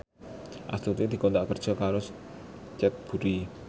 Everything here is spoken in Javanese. Astuti dikontrak kerja karo Cadbury